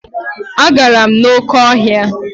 Agara m n'oké ọhịa.